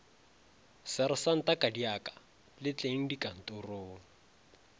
sersanta kadiaka le tleng dikantorong